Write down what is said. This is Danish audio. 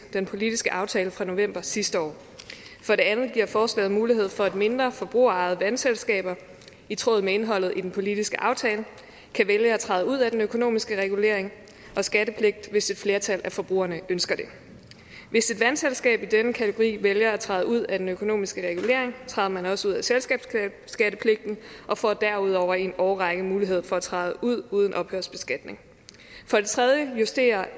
den politiske aftale fra november sidste år for det andet giver forslaget mulighed for at mindre forbrugerejede vandselskaber i tråd med indholdet i den politiske aftale kan vælge at træde ud af den økonomiske regulering og skattepligt hvis et flertal af forbrugerne ønsker det hvis et vandselskab i denne kategori vælger at træde ud af den økonomiske regulering træder man også ud af selskabsskattepligten og får derudover i en årrække mulighed for at træde ud uden ophørsbeskatning for det tredje justerer